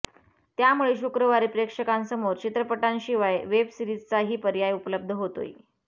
त्यामुळे शुक्रवारी प्रेक्षकांसमोर चित्रपटांशिवाय वेब सीरिजचाही पर्याय उपलब्ध होतोय